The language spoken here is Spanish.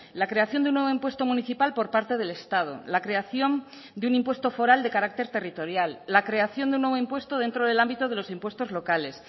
la creación de un nuevo impuesto municipal por parte del estado la creación de un impuesto foral de carácter territorial la creación de un nuevo impuesto dentro del ámbito de los impuestos locales